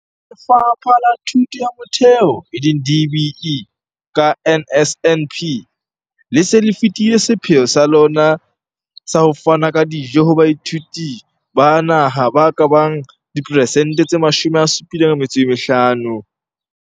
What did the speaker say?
Lefapha la Thuto ya Motheo, e leng DBE, ka NSNP, le se le fetile sepheo sa lona sa ho fana ka dijo ho baithuti ba naha ba ka bang diperesente tse 75.